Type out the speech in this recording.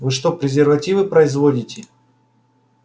вы что презервативы производите